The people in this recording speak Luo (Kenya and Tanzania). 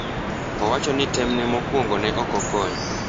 Owacho ni tem ne mokwongo ne oko konyo.